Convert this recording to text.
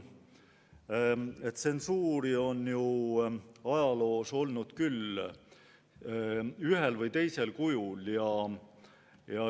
Eks tsensuuri on ju ajaloos olnud küll ühel, küll teisel kujul.